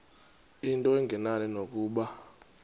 into engenani nokuba